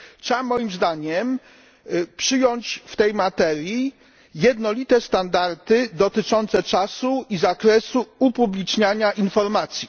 Trzeba moim zdaniem przyjąć w tej materii jednolite standardy dotyczące czasu i zakresu upubliczniania informacji.